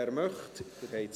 – Er möchte.